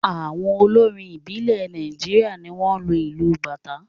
Àwọn olórin ìbílẹ̀ Nàìjíríà ni wọ́n ń lo ìlù Bàtá.